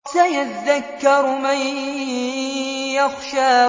سَيَذَّكَّرُ مَن يَخْشَىٰ